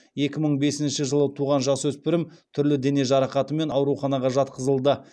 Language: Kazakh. екі мың бесінші жылы туған жасөспірім түрлі дене жарақатымен ауруханаға жатқызылды